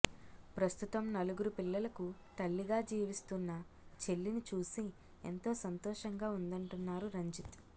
ప్రస్తుతం నలుగురు పిల్లలకు తల్లిగా జీవిస్తున్న చెల్లిని చూసి ఎంతో సంతోషంగా ఉందంటున్నారు రంజిత్